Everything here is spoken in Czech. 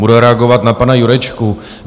Budu reagovat na pana Jurečku.